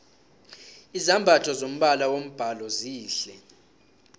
izambatho zombala wombhalo zihle